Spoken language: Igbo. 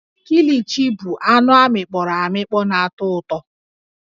Kilichi bụ anụ amịkpọro amịkpọ na-atọ ụtọ